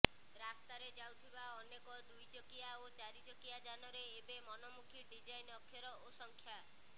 ରାସ୍ତାରେ ଯାଉଥିବା ଅନେକ ଦୁଇଚକିଆ ଓ ଚାରିଚକିଆ ଯାନରେ ଏବେ ମନମୁଖୀ ଡିଜାଇନ୍ ଅକ୍ଷର ଓ ସଂଖ୍ୟା